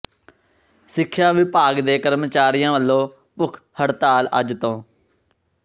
ਸਿੱਖਿਆ ਵਿਭਾਗ ਦੇ ਕਰਮਚਾਰੀਆਂ ਵੱਲੋਂ ਭੁੱਖ ਹਡ਼ਤਾਲ ਅੱਜ ਤੋਂ